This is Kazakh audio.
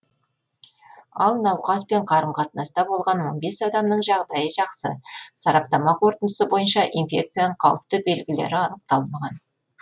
ал науқаспен қарым қатынаста болған он бес адамның жағдайы жақсы сараптама қорытындысы бойынша инфекцияның қауіпті белгілері анықталмаған